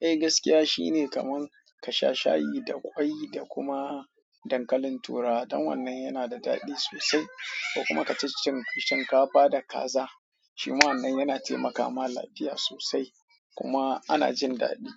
Eh gaskiya shine kaman kasha shayi da kwai da kuma dankalin turawa dan wannan yanada dadi sosai kuma ka ci cin shinkafa da kaza, shi ma wannan yana temaka ma lafiya sosai kuma ana jin daɗi.